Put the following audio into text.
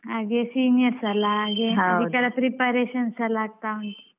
ಹಾಗೆ seniors ಅಲ್ಲ ಹಾಗೆ ಅದಕ್ಕೆಲ್ಲ preparation ಎಲ್ಲಾ ಆಗ್ತಾ ಉಂಟು.